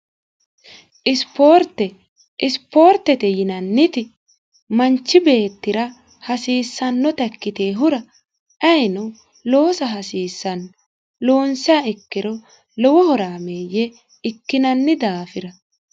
isipoortete yinanniti manchi beettira hasiissannota ikkitehura ayino loosa hasiissanno loonsia ikkiro lowohoraameeyye ikkinanni daafira